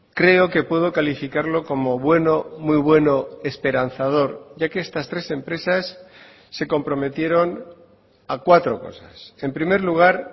creo que puedo calificarlo como bueno muy bueno esperanzador ya que estas tres empresas se comprometieron a cuatro cosas en primer lugar